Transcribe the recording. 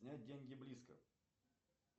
снять деньги близко